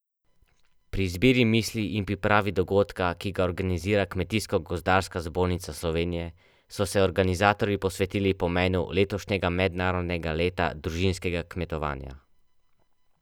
Pri izbiri misli in pripravi dogodka, ki ga organizira Kmetijsko gozdarska zbornica Slovenije, so se organizatorji posvetili pomenu letošnjega mednarodnega leta družinskega kmetovanja.